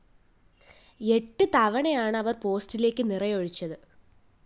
എട്ട് തവണയാണ് അവര്‍ പോസ്റ്റിലേക്ക് നിറയൊഴിച്ചത്